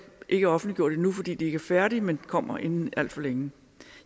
ikke er offentliggjort endnu fordi de ikke er færdige men kommer inden alt for længe